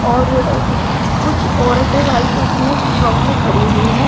और कुछ औरतें व्हाइट उसमें फ्रॉक में खड़ी हुई है।